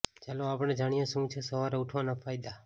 ચાલો આપણે જાણીએ શું છે સવારે ઉઠવાના ફાયદા